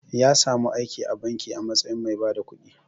Ya samu aiki a banki a matsayin mai bada kudi.